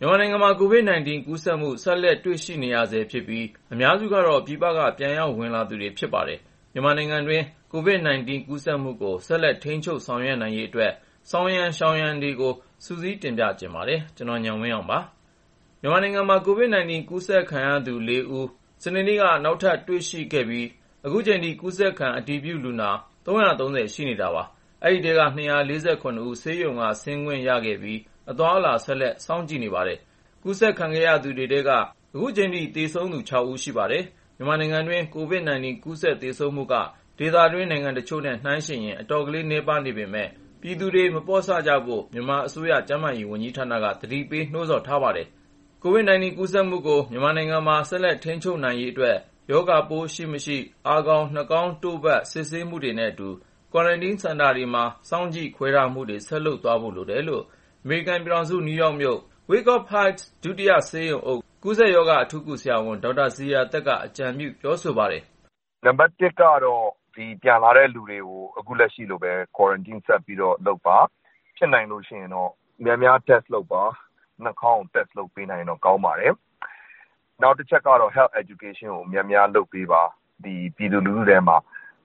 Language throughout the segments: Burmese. မြန်မာနိုင်ငံမှာ COVID-19 ကူးစက်မှု ဆက်လက်တွေ့နေရဆဲဖြစ်ပြီး အများစုကတော့ ပြည်ပက ပြန်လည်ဝင်ရောက်လာသူတွေ ဖြစ်ပါတယ်။ မြန်မာနိုင်ငံတွင်း COVID-19 ကူးစက်မှုကို ဆက်လက် ထိန်းချုပ်ဆောင်ရွက်နိုင်ရေးအတွက် ဆောင်ရန် ရှောင်ရန်တွေကို ကိုဉာဏ်ဝင်းအောင် စုစည်း တင်ပြထားပါတယ်။ မြန်မာနိုင်ငံမှာ COVID-19 ကူးစက်ခံရသူ ၄ ဦး စနေနေ့က ထပ်ပြီး တွေ့ခဲ့ရပြီး အခုအချိန်ထိ ကူးစက်ခံ အတည်ပြု ၃၃၀ ဦး ရှိနေပါတယ်။ ဒီထဲက ၂၄၇ ဦး ဆေးရုံဆင်းခွင့်ရခဲ့ပြီး အသွားအလာ ဆက်လက် စောင့်ကြည့်နေပါတယ်။ ကူးစက်ခံရသူတွေထဲက သေဆုံးသူ အခုအချိန်ထိ ၆ ဦး ရှိပါတယ်။ မြန်မာနိုင်ငံတွင်း COVID-19 ကူးစက် သေဆုံးမှုနှုန်းက ဒေသတွင်းနိုင်ငံတချို့နဲ့ ယှဉ်ရင် အတော်လေး နည်းပါးပေမယ့်လည်း ပြည်သူများ မပေါ့ဆကြဖို့ မြန်မာအစိုးရ ကျန်းမာရေးဝန်ကြီးဌာနက သတိပေး နှိုးဆော်ထားပါတယ်။ မြန်မာနိုင်ငံမှာ COVID-19 ကူးစက်မှုကို ဆက်လက် ထိန်းချုပ်ထားနိုင်ရေးအတွက် ရောဂါပိုးရှိမရှိ အာခေါင်၊ နှာခေါင်းတို့ဖတ် စစ်ဆေးမှုတွေနဲ့အတူ ကွာရမ်တင်းစင်တာတွေမှာ စောင့်ကြည့်ခွဲထားမှုတွေ ဆက်လုပ်သွားဖို့ လိုတယ်လို့ အမေရိကန်ပြည်ထောင်စု နယူးယောက်မြို့ Wyckoff Heights ဒုတိယဆေးရုံအုပ် ကူးစက်ရောဂါအထူးကု ဆရာဝန် ဒေါက်တာဇေယျာသက်က အကြံပြု ပြောဆိုပါတယ်။ "အဓိကတော့ ပြန်လာတဲ့လူတွေကို ခုလက်ရှိလိုပဲ ကွာရမ်တင်း ဆက်လုပ်ဖို့ပါ။ ဖြစ်နိုင်ရင် test များများလုပ်ပါ။ နှာခေါင်းကို test လုပ်ပေးနိုင်ရင်တော့ ကောင်းပါတယ်။ နောက်တချက်ကတော့ ကျန်းမာရေးပညာပေးကို များများလုပ်ပေးပါ။ ပြည်သူလူထုတွေထဲမှာ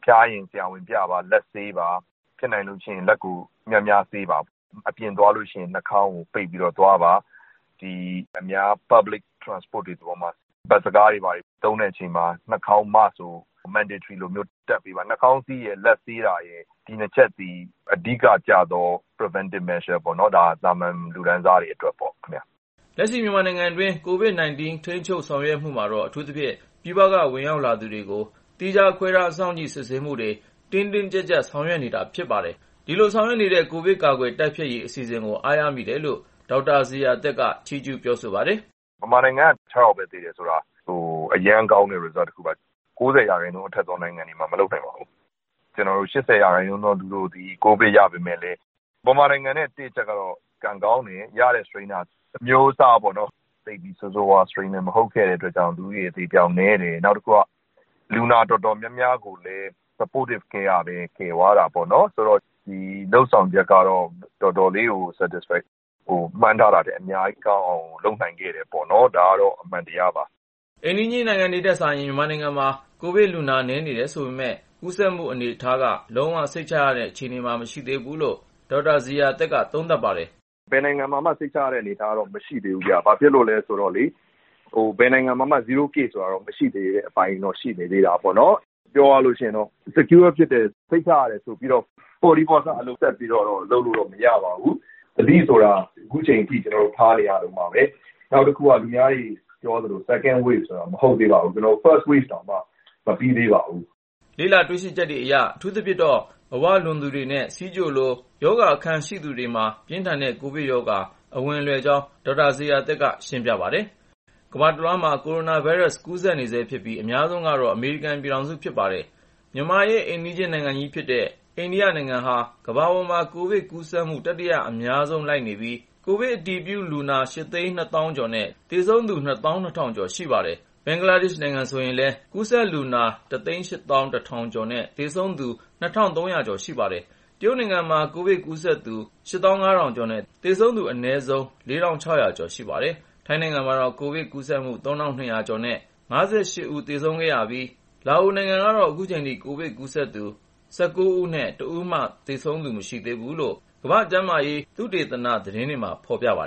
ဖျားရင် ဆရာဝန်ပြပါ၊ လက်ဆေးပါ၊ ဖြစ်နိုင်ရင် လက်ကို များများဆေးပါ။ အပြင်သွားရင် နှာခေါင်းကို ပိတ်ပြီးသွားပါ။ ဒီ အများသုံး Public Transport တွေပေါ်မှာ ဘတ်စ်ကားတွေ ဘာတွေ သုံးတဲ့အချိန်မှာ နှာခေါင်းစည်းကို မဖြစ်မနေတပ်ပါ။ နှာခေါင်းစည်းနဲ့ လက်ဆေးတာက သာမန်ပြည်သူတွေအတွက် ဒီနှစ်ချက်က အဓိကျတဲ့ ရောဂါကာကွယ်ရေး လုပ်ဆောင်ချက်ပါ။" လက်ရှိ မြန်မာနိုင်ငံတွင်း COVID-19 ထိန်းချုပ် ဆောင်ရွက်မှုမှာတော့ အထူးသဖြင့် ပြည်ပက ဝင်ရောက်လာသူတွေကို သီးခြားခွဲ စောင့်ကြည့် စစ်ဆေးမှုကို တင်းတင်းကျပ်ကျပ် ဆောင်ရွက်နေတာ ဖြစ်ပါတယ်။ လက်ရှိဆောင်ရွက်နေတဲ့ ကိုဗစ်ကာကွယ်တိုက်ဖျက်ရေး အစီအစဉ်ကို အားရမိပါတယ်လို့ ဒေါက်တာဇေယျာသက်က ပြောဆိုပါတယ်။ “မြန်မာနိုင်ငံက ၆ ယောက်ပဲ သေတယ်ဆိုတာ အရမ်းကောင်းတဲ့ ရလဒ်တခုပါ။ ဒါမျိုး ၉၀ ရာခိုင်နှုန်း အထက်သော နိုင်ငံတွေမှာ မလုပ်နိုင်ပါဘူး။ ၈၀ ရာခိုင်နှုန်းသော သူတွေက ကိုဗစ်ရပေမယ့်လည်း မြန်မာနိုင်ငံဟာ ကံကောင်းတယ်။ ကူးစက်ခံရတဲ့ strain ပိုးအမျိုးအစားက ဆိုးဆိုးဝါးဝါး မဟုတ်တဲ့အတွက် လူဦးရေ အသေအပျောက်နည်းတယ်။ နောက်တခုက လူနာအတော်များများကိုလည်း supported care ပံ့ပိုးကုသမှု အပိုင်းကလည်း ကယ်သွားတာပေါ့နော်။ ဆိုတော့ ကျန်းမာရေးဌာနရဲ့ လုပ်ဆောင်ချက်ကတော့ တော်တော်လေးကို ကျေနပ်စရာပါ။ မှန်းထားတာထက် အများကြီးကောင်းအောင် လုပ်နိုင်ခဲ့တာပေါ့။ ဒါကတော့ အမှန်တရားပါ။” အိမ်နီးချင်းနိုင်ငံတွေထက်စာရင် မြန်မာနိုင်ငံမှာ ကိုဗစ်လူနာ နည်းနေတယ် ဆိုပေမယ့်လည်း ကူးစက်မှုအနေအထားက လုံးဝ စိတ်ချရတဲ့ အခြေအနေမျိုးမှာတော့ မရှိသေးဘူးလို့ ဒေါက်တာဇေယျာသက်က သုံးသပ်ပါတယ်။ “ဘယ်နိုင်ငံမှာမှ စိတ်ချရတဲ့ အနေအထား မရှိသေးဘူးဗျ။ ဘာဖြစ်လု့ိလဲဆိုတော့လေ ဘယ်နိုင်ငံမှာမှ zero case မရှိသေးတဲ့အပိုင်း ရှိနေတာပေါ့နော်။ ပြောရရင်တော့ စိတ်ချရတယ်ဆိုပြီးတော့ ပေါ့တီးပေါ့ဆ လုပ်လို့တော့ မရပါဘူး။ သတိဆိုတာ ခုချိန်ထိ ကျနော်တို့ ထားနေရတုန်းပါပဲ။ နောက်တခုက သူများတွေပြောသလို 2nd wave ဆိုတာ မဟုတ်သေးပါဘူး။ 1st wave တောင်မှ မပြီးသေးပါဘူး။” လေ့လာတွေ့ရှိချက်တွေအရ အထူးသဖြင့်တော့ အဝလွန်သူတွေနဲ့ ဆီးချိုလို ရောဂါအခံရှိသူတွေ၊ သွေးအုပ်စု A အမျိုးအစား ရှိသူတွေမှာ ပြင်းထန်တဲ့ ကိုဗစ်ရောဂါ အဝင်လွယ်ကြောင်း ဒေါက်တာဇေယျာသက်က ရှင်းပြပါတယ်။ ကမ္ဘာတလွှား ကိုရိုနာဗိုင်းရပ်စ် ကူးစက်နေဆဲဖြစ်ပြီး အများဆုံးကတော့ အမေရိကန်ပြည်ထောင်စုပါ။ မြန်မာရဲ့ အိမ်နီးချင်းနိုင်ငံကြီးဖြစ်တဲ့ အိန္ဒိယနိုင်ငံဟာ ကမ္ဘာပေါ်မှာ ကိုဗစ်ကူးစက်မှု တတိယအများဆုံး လိုက်နေပြီး ကိုဗစ် အတည်ပြုလူနာ ၈၂၀,၀၀၀ ကျော်နဲ့ သေဆုံးသူ ၂၂,၀၀၀ ကျော် ရှိနေပါတယ်။ ဘင်္ဂလားဒေ့ရှ်နိုင်ငံ ဆိုရင်လည်း ကူးစက်လူနာ ၁၈၁,၀၀၀ ကျော်နဲ့ သေဆုံးသူ ၂,၃၀၀ ကျော်ရှိပါတယ်။ တရုတ်နိုင်ငံမှာ ကိုဗစ်ကူးစက်သူ ၈၅,၀၀၀ ကျော်နဲ့ သေဆုံးသူ အနည်းဆုံး ၄,၆၀၀ ကျော် ရှိပါတယ်။ ထိုင်းနိုင်ငံမှာတော့ ကိုဗစ်ကူးစက်မှု ၃,၂၀၀ ကျော်နဲ့ ၅၈ ဦး သေဆုံးခဲ့ပြီး လာအိုနိုင်ငံကတော့ ခုချိန်ထိ ကူးစက်သူ ၁၉ ဦးနဲ့ တဦးမှ သေဆုံးသူ မရှိသေးဘူးလို့ ကမ္ဘာ့ကျန်းမာရေး သုတေသန သတင်းတွေမှာ ဖော်ပြပါ